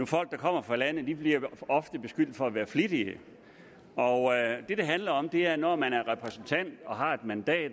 folk der kommer fra landet bliver ofte beskyldt for at være flittige og det det handler om er at når man er repræsentant og har et mandat